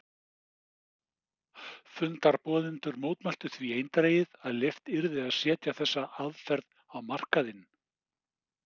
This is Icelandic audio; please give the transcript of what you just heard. Fundarboðendur mótmæltu því eindregið að leyft yrði að setja þessa aðferð á markaðinn.